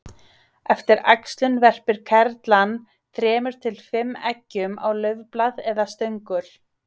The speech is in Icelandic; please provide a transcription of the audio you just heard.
Eftir æxlun verpir kerlan þremur til fimm eggjum á laufblað eða stöngul.